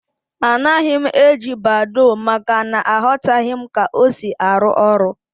Anaghị m eji Badoo, maka na aghotaghi m ka ọ sị arụ ọrụ